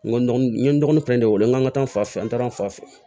N ko n ye n dɔgɔnin fɛnɛ de wele n go n ka taa fan fɛ an taara n fa fɛ